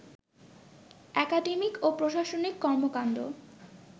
academic ও প্রশাসনিক কর্মকাণ্ড